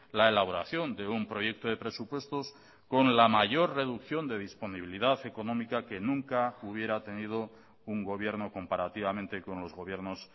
la elaboración de un proyecto de presupuestos con la mayor reducción de disponibilidad económica que nunca hubiera tenido un gobierno comparativamente con los gobiernos